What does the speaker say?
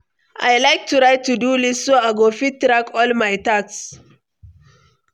I like to write to-do list so I go fit track all my tasks.